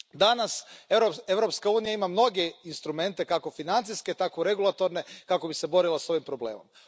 Danas Europska unija ima mnoge instrumente, kako financijske tako regulatorne, kako bi se borila s ovim problemom.